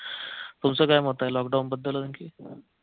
तुमचं काय मत आहे लॉक डाऊनबद्दल आणखी